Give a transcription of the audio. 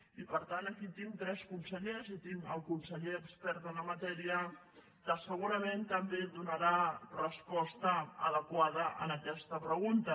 i per tant aquí tinc tres consellers i tinc el conseller expert en la matèria que segurament també donarà resposta adequada a aquesta pregunta